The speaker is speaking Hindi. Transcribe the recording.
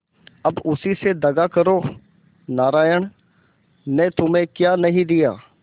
अब उसी से दगा करो नारायण ने तुम्हें क्या नहीं दिया